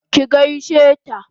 ki gaishe ta!